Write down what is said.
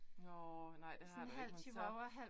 Nåh nej det har du ikke, men så